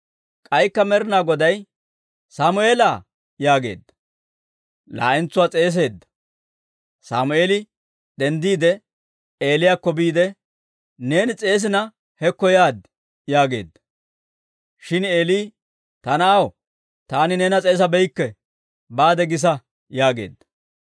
K'aykka Med'inaa Goday, «Sammeela» yaagiide laa'entsuwaa s'eeseedda; Sammeeli denddiide, Eeliyaakko biide, «Neeni s'eesina hekko yaad» yaageedda. Shin Eeli, «Ta na'aw, taani neena s'eesabeykke; baade gisa» yaageedda.